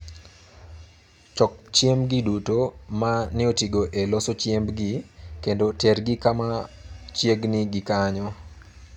Choko chiembgi duto ma ne otigo e loso chiembgi, kendo tergi kama chiegni gi kanyo.